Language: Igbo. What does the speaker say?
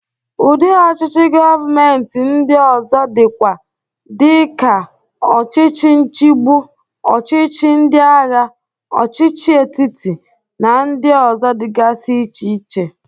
Udị ọchịchị govmenti ndị ọzọ dịkwa dị ka ọchịchị nchigbụ, ọchịchị ndịagha, ọchịchị etiti, na ndị ọzọ dịgasi iche iche.